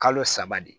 Kalo saba de ye